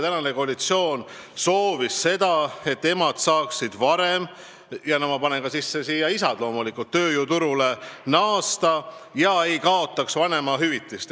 Praegune koalitsioon on soovinud, et emad ja loomulikult ka isad saaksid tööjõuturule naasta, kaotamata vanemahüvitist.